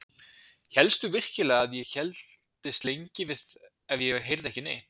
Hélstu virkilega að ég héldist lengi við ef ég heyrði ekki neitt?